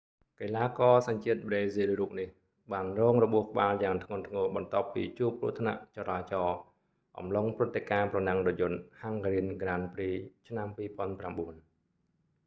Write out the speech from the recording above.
កីឡាករសញ្ជាតិប្រេស៊ីលរូបនេះ បានរងរបួសក្បាលយ៉ាងធ្ងន់ធ្ងរបន្ទាប់ពីជួបគ្រោះថ្នាក់ចរាចរណ៍អំឡុងព្រឹត្តិការណ៍ប្រណាំងរថយន្ត hungarian grand prix ឆ្នាំ 2009